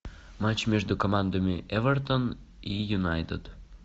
матч между командами эвертон и юнайтед